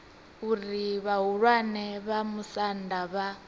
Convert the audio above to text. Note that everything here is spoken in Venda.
uri vhahulwane vha musanda vha